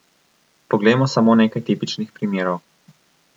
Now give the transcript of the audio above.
Poglejmo samo nekaj tipičnih primerov.